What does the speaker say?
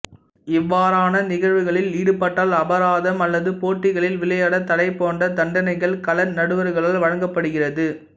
இவாறான நிகழ்வுகளில் ஈடுபட்டால் அபராதம் அல்லது போட்டிகளில் விளையாட தடை போன்ற தண்டனைகள் கள நடுவர்களால் வழங்கப்படுகிறது